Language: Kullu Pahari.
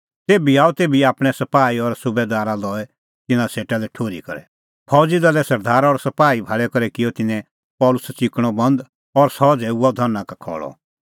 तेभी आअ तेभी आपणैं सपाही और सुबैदारा लई तिन्नां सेटा लै ठुर्ही करै फौज़ी दले सरदारा और सपाही भाल़ी करै किअ तिन्नैं पल़सी च़िकणअ बंद और सह झ़ैऊअ धरना का खल़अ